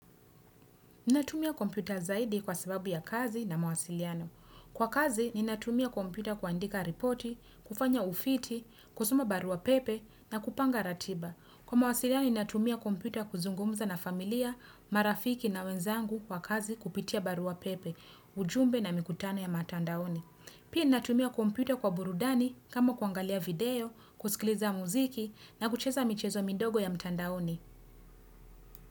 Ninatumia kompyta zaidi kwa sababu ya kazi na mawasiliano. Kwa kazi, ninatumia kompyuta kuandika ripoti, kufanya ufiti, kusoma barua pepe na kupanga ratiba. Kwa mawasiliano, ninatumia kompyuta kuzungumza na familia, marafiki na wenzangu kwa kazi kupitia barua pepe, ujumbe na mikutano ya mtandaoni. Pia, ninatumia kompyuta kwa burudani kama kuangalia video, kusikiliza muziki na kucheza michezo mindogo ya mtandaoni.